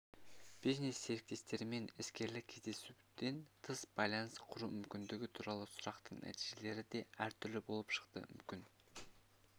бизнес-серіктестермен сенімді және жеке қатынастарды құрудың маңыздылығы бойынша сұраққа мынадай жауап алдық өте маңызды маңызды жауаптарға